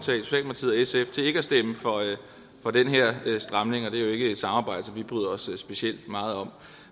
sf til ikke at stemme for den her stramning og det er jo ikke et samarbejde som vi bryder os specielt meget om